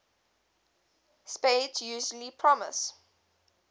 spades usually promises